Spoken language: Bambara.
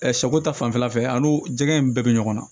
sɛko ta fanfɛla fɛ an n'u jɛgɛ in bɛɛ bɛ ɲɔgɔn na